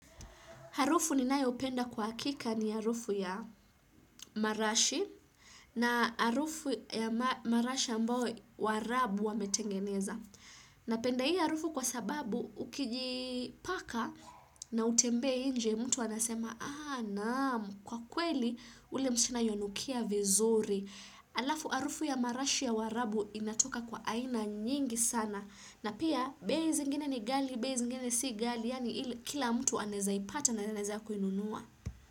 Harufu ninayoipenda kwa hakika ni harufu ya marashi na harufu ya marashi ambao waarabu wametengeneza. Napenda hii harufu kwa sababu ukijipaka na utembee nje mtu anasema, ah naam, kwa kweli ule msichana yuanukia vizuri. Alafu harufu ya marashi ya waarabu inatoka kwa aina nyingi sana. Na pia, bei zingine ni ghali, bei zingine si ghali, yaani kila mtu anaeza ipata na anaeza kuinunua.